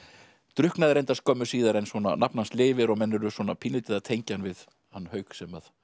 drukknaði reyndar skömmu síðan en nafn hans lifir og menn eru pínulítið að tengja hann við hann Hauk sem